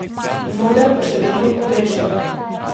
Mnoge pa še vedno pogrešajo.